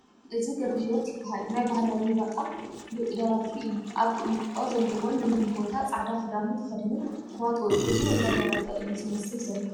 እዚ ገ/ሂወት ይበሃል ናይ ባህላዊ ዋጣ ግሉጥ ደራፊ እዩ ኣብ ቑሚጦ ዘለዎን ልምሉም ቦታ ፃዕዳ ኽዱኑ ተኸዲኑ ዋጡኡ ሒዙ እንዳደረፈ እዩ ዝመስል ዘሎ ።